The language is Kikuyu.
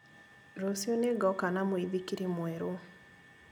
Rũciũ nĩngoka na mũithikiri mwerũ